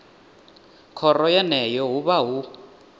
khoro yeneyo hu vha hu